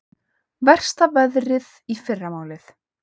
Versta veðrið í fyrramálið